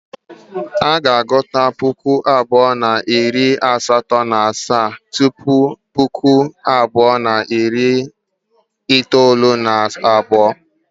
A ga-agụta Puku abụọ na iri asato na asaa tupu Puku abụọ na iri itoolu na abuo.